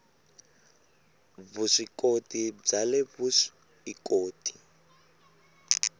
vuswikoti bya le vusw ikoti